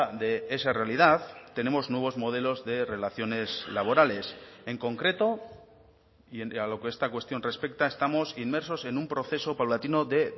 de esa realidad tenemos nuevos modelos de relaciones laborales en concreto y a lo que esta cuestión respecta estamos inmersos en un proceso paulatino de